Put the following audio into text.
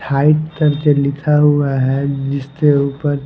height करके लिखा हुआ है जिसके ऊपर--